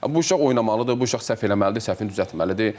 Bu uşaq oynamalıdır, bu uşaq səhv eləməlidir, səhvini düzəltməlidir.